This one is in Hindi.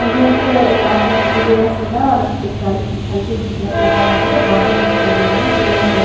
मुझे यहां पर एक रास्ता दिखाइ दे रहा है सीधा और एक गाड़ी की हल कि सी झलक नजर आ रही है दो आदमी दिखाई दे रहे हैं जिन्होंने गम --